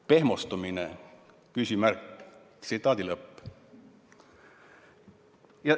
Pehmostumine?